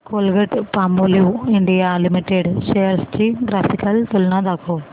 Colgate Palmolive India limited shares ची graphical तुलना दाखव